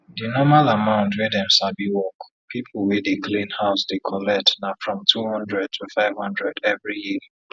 di normal amount wey dem sabi work pipo wey dey clean house dey collect na from two hundred to five hundred every year